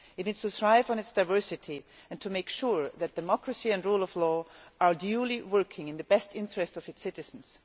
It needs to thrive on its diversity and to make sure that democracy and the rule of law are working in the best interests of its citizens.